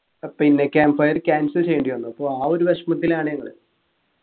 പിന്നെ camp fire cancel ചെയ്യേണ്ടി വന്നു അപ്പൊ ആ ഒരു വിഷമത്തിലാണ് ഞങ്ങള്